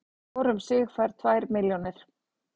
Hvor um sig fær tvær milljónir